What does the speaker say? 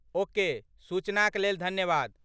Okay, सूचनाक लेल धन्यवाद।